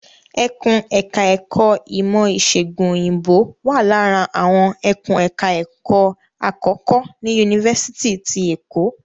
Ẹkùn ẹ̀ka ẹ̀kó ìmọ̀ ìṣègùn Òyìnbó wà lára àwọn ẹkùn ẹ̀ka ẹ̀kó àkọ́kọ́ ní Yunifásitì ti Èkó.